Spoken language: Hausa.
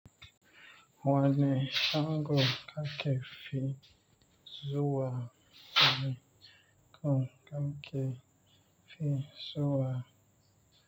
Wani shago ka ke fi zuwa, wani ka ke fi zuwa.